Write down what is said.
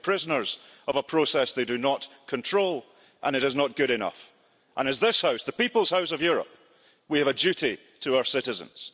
They feel prisoners of a process they do not control and that is not good enough. We in this House, the people's house of Europe, have a duty to our citizens.